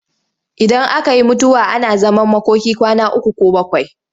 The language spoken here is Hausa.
Idan aka yi mutuwa ana zaman makoki kwana uku ko bakwai.